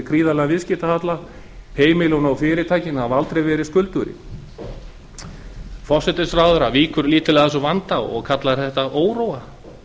gríðarlegan viðskiptahalla heimilin og fyrirtækin hafa aldrei verið skuldugri forsætisráðherra víkur lítillega að þessum vanda og kallar þetta óróa